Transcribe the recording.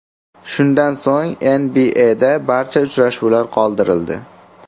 Shundan so‘ng NBAda barcha uchrashuvlar qoldirildi.